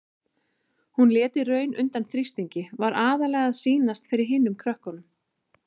Hún lét í raun undan þrýstingi, var aðallega að sýnast fyrir hinum krökkunum.